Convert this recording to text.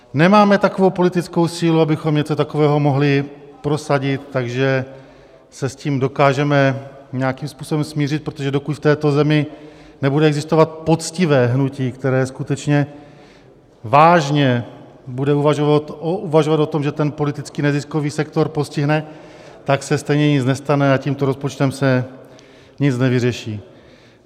Nemáme takovou politickou sílu, abychom něco takového mohli prosadit, takže se s tím dokážeme nějakým způsobem smířit, protože dokud v této zemi nebude existovat poctivé hnutí, které skutečně vážně bude uvažovat o tom, že ten politický neziskový sektor postihne, tak se stejně nic nestane a tímto rozpočtem se nic nevyřeší.